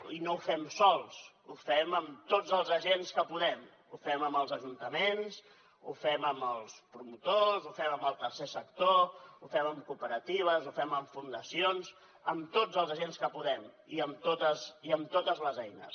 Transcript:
i no ho fem sols ho fem amb tots els agents que podem ho fem amb els ajuntaments ho fem amb els promotors ho fem amb el tercer sector ho fem amb cooperatives ho fem amb fundacions amb tots els agents que podem i amb totes les eines